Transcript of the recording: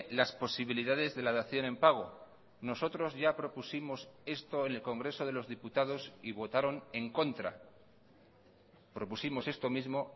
las posibilidades de la dación en pago nosotros ya propusimos esto en el congreso de los diputados y votaron en contra propusimos esto mismo